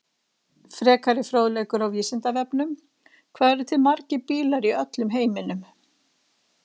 Frekari fróðleikur á Vísindavefnum: Hvað eru til margir bílar í öllum heiminum?